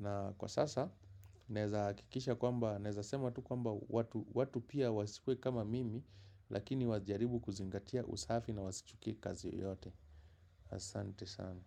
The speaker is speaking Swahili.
Na kwa sasa, naezahakikisha kwamba, naeza sema tu kwamba watu pia wasikuwe kama mimi. Lakini wajaribu kuzingatia usafi na wasichukie kazi yeyote. Asante sana.